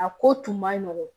A ko tun ma nɔgɔn